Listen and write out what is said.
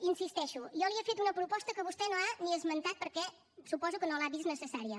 hi insisteixo jo li he fet una proposta que vostè no ha ni esmentat perquè suposo que no l’ha vist necessària